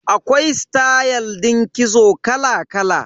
Akwai stayal din kitso kala kala.